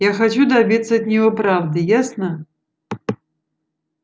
я хочу добиться от него правды ясно